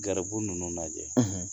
Garibu ninnu lajɛ